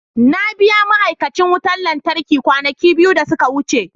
Na biya ma'aikacin wutar lantarki kwanaki biyu da suka wuce.